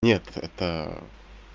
нет это